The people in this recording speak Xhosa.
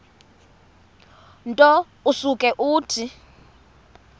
nto usuke uthi